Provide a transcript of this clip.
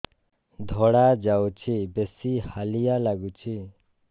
ଧଳା ଯାଉଛି ବେଶି ହାଲିଆ ଲାଗୁଚି